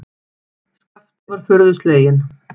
Skapti var furðu sleginn.